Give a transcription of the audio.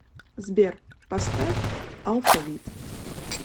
сбер поставь алфавит